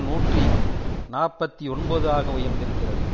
நூற்றி நாற்பத்தி ஒன்பது ஆக உயர்ந்திருக்கிறது